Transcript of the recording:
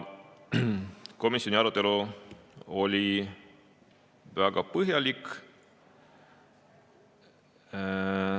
Komisjoni arutelu oli väga põhjalik.